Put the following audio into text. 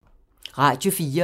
Radio 4